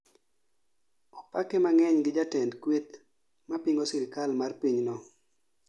Opake mang'eny gi jatend kweth mapingo sirikal mar piny no